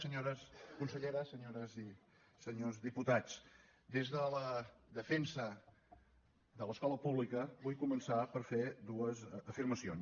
senyores conselleres senyores i senyors diputats des de la defensa de l’escola pública vull començar per fer dues afirmacions